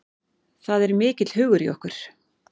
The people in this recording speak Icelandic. Það er mikill hugur í okkur